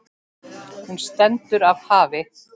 Hún stendur af hafi.